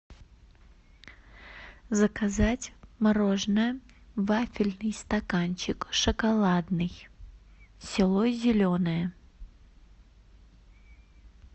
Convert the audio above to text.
заказать мороженое вафельный стаканчик шоколадный село зеленое